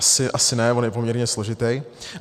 Asi ne, on je poměrně složitý.